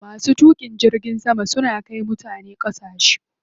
Masu tuƙin jirgin sama suna kai mutane ƙasashe.